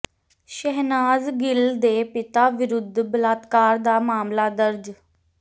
ਸ਼ਹਿਨਾਜ਼ ਗਿੱਲ ਦੇ ਪਿਤਾ ਵਿਰੁੱਧ ਬਲਾਤਕਾਰ ਦਾ ਮਾਮਲਾ ਦਰਜ